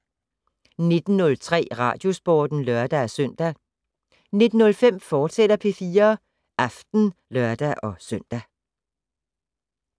19:03: Radiosporten (lør-søn) 19:05: P4 Aften, fortsat (lør-søn)